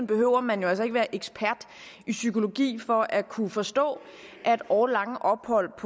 behøver man jo altså ikke være ekspert i psykologi for at kunne forstå at årelange ophold